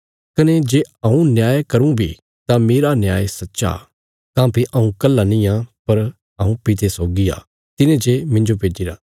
कने जे हऊँ न्याय करूँ बी तां मेरा न्याय सच्चा काँह्भई हऊँ कल्हा निआं पर हऊँ पिते सौगी आ तिने जे मिन्जो भेज्जिरा